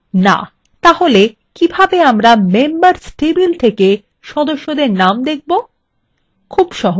তাহলে কিভাবে আমরা members table সদস্যদের names দেখাতে